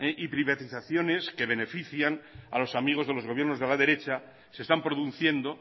y privatizaciones que benefician a los amigos de gobiernos de la derecha se están produciendo